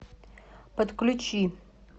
подключи